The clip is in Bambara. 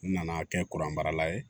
N nana kɛ kuran marala ye